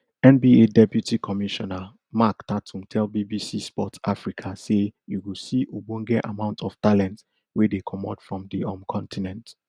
nba deputy commissioner mark tatum tell bbc sport africa say you go see ogbonge amount of talent wey dey comot from di um continent